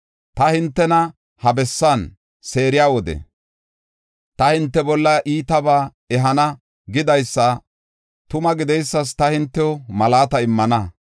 Ta hintena ha bessan seeriya wode, ‘Ta hinte bolla iitabaa ehana’ gidaysi tuma gideysas ta hintew malaata immana.